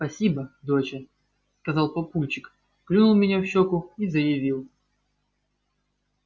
спасибо доча сказал папульчик клюнул меня в щеку и заявил